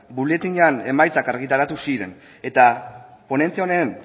boletinean emaitzak argitaratu ziren eta ponentzia honen